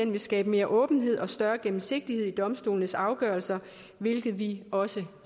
vil skabe mere åbenhed og større gennemsigtighed i domstolenes afgørelser hvilket vi også